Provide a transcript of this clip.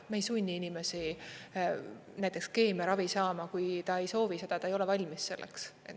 Me ei sunni inimesi näiteks keemiaravi saama, kui ta ei soovi seda, ta ei ole valmis selleks.